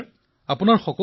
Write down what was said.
শ্ৰী হৰি জি বিঃ হয় মহাশয়